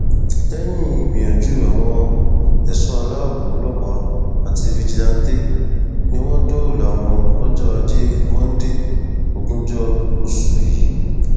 lẹyìn ìgbìyànjú àwọn ẹṣọ aláàbọ ọlọpàá àti fíjìláńtẹ ni wọn dóòlà wọn lọjọ ajé monde ogúnjọ oṣù yìí